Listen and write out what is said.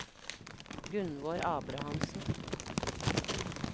Gunnvor Abrahamsen